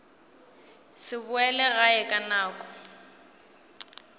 se boele gae ka nako